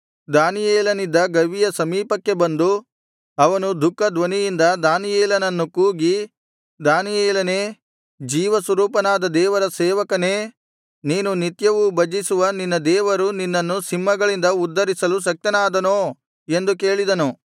ದಾನಿಯೇಲನಿದ್ದ ಗವಿಯ ಸಮೀಪಕ್ಕೆ ಬಂದು ಅವನು ದುಃಖ ಧ್ವನಿಯಿಂದ ದಾನಿಯೇಲನನ್ನು ಕೂಗಿ ದಾನಿಯೇಲನೇ ಜೀವ ಸ್ವರೂಪನಾದ ದೇವರ ಸೇವಕನೇ ನೀನು ನಿತ್ಯವೂ ಭಜಿಸುವ ನಿನ್ನ ದೇವರು ನಿನ್ನನ್ನು ಸಿಂಹಗಳಿಂದ ಉದ್ಧರಿಸಲು ಶಕ್ತನಾದನೋ ಎಂದು ಕೇಳಿದನು